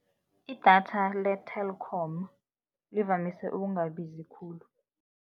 Idatha le-Telkom livamise ukungabizi khulu.